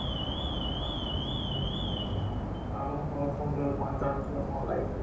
ଆଛା ଆଉ କଣ ଖବର, କଣ ଚାଲିଛି ଆପଣଙ୍କ life ରେ?